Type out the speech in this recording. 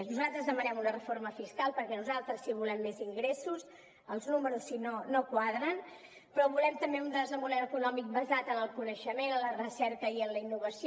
nosaltres demanem una reforma fiscal perquè nosaltres sí que volem més ingressos els números si no no quadren però volem també un desenvolupament econòmic basat en el coneixement en la recerca i en la innovació